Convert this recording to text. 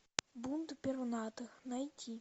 бунт пернатых найти